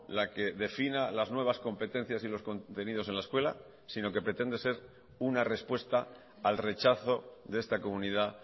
la que defina las nuevas competencias y los contenidos en la escuela sino que pretende ser una respuesta al rechazo de esta comunidad